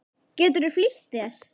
Geturðu flýtt þér.